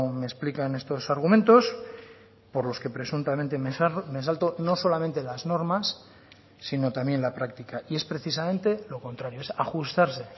me explican estos argumentos por los que presuntamente me salto no solamente las normas sino también la práctica y es precisamente lo contrario es ajustarse